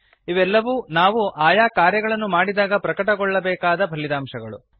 ಇವೆಲ್ಲವೂ ನಾವು ಆಯಾ ಕಾರ್ಯಗಳನ್ನು ಮಾಡಿದಾಗ ಪ್ರಕಟವಾಗಬೇಕಾದ ಫಲಿತಾಂಶಗಳು